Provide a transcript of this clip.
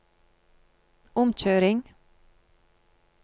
omkjøring